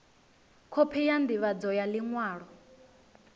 khophi ya ndivhadzo ya liṅwalo